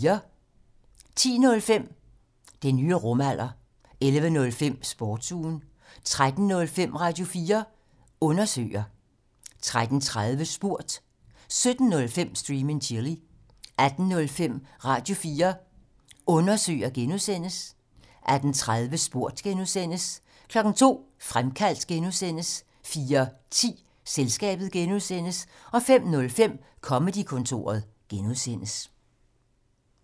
10:05: Den nye rumalder 11:05: Sportsugen 13:05: Radio4 Undersøger 13:30: Spurgt 17:05: Stream and Chill 18:05: Radio4 Undersøger (G) 18:30: Spurgt (G) 02:00: Fremkaldt (G) 04:10: Selskabet (G) 05:05: Comedy-kontoret (G)